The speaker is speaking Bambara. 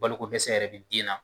Balokodɛsɛ yɛrɛ bɛ den na